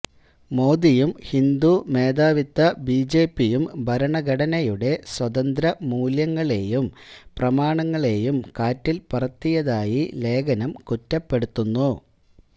മോദിയും ഹിന്ദു മേധാവിത്വ ബിജെപിയും ഭരണഘടനയുടെ സ്വതന്ത്ര മൂല്യങ്ങളെയും പ്രമാണങ്ങളേയും കാറ്റില് പറത്തിയതായി ലേഖനം കുറ്റപ്പെടുത്തുന്നു